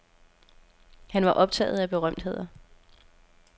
Han var optaget af berømtheder.